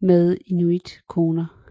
med inuitkvinder